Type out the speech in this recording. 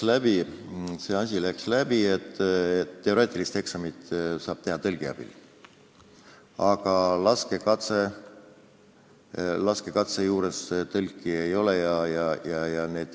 Jah, see asi läks läbi, et teooriaeksamit saab teha tõlgi abil, aga laskekatse juures tõlki ei ole.